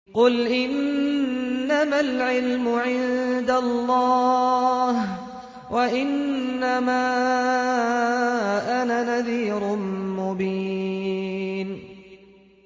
قُلْ إِنَّمَا الْعِلْمُ عِندَ اللَّهِ وَإِنَّمَا أَنَا نَذِيرٌ مُّبِينٌ